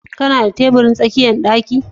Kana da tabirin tsakiyar ɗaki?